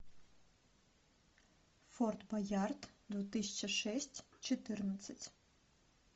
форт боярд две тысячи шесть четырнадцать